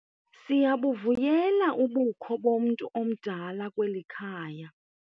Siyabuvuyela ubukho bomntu omdala kweli khaya.